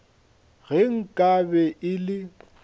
ge nka be e le